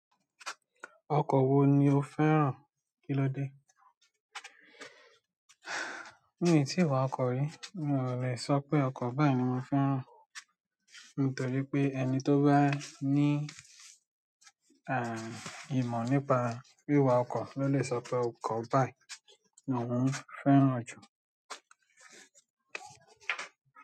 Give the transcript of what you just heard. Ọkọ̀ wo ni o fẹ́ràn kí lo dé? Mio ti wà ọkọ rí mí o le sọ pé irú ọkọ báyìí ni mo fẹ́ràn nítorí pé ẹni ti ba ní img nípa wiwà ọkọ lo le sọ pé ọkọ báyìí ni ohùn fẹ́ràn jù.